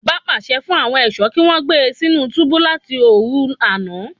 Ọba pàṣẹ fún àwọn ẹṣọ kí wọn gbé sínú túbú láti òru àna